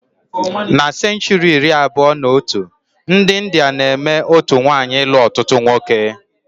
Na senchuri iri abụọ na otu, ndi India na-eme otú nwaanyị ilu ọtụtụ nwoke